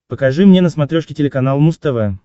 покажи мне на смотрешке телеканал муз тв